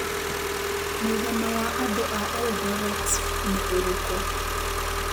Mũigana wa andũ a Eldoret nĩ ũrikũ